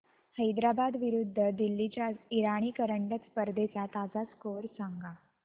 हैदराबाद विरुद्ध दिल्ली च्या इराणी करंडक स्पर्धेचा ताजा स्कोअर सांगा